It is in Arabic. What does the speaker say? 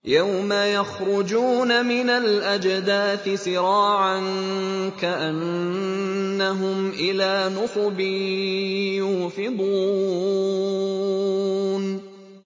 يَوْمَ يَخْرُجُونَ مِنَ الْأَجْدَاثِ سِرَاعًا كَأَنَّهُمْ إِلَىٰ نُصُبٍ يُوفِضُونَ